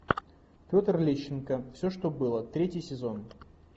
петр лещенко все что было третий сезон